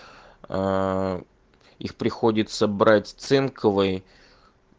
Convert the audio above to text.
аа их приходится брать цинковый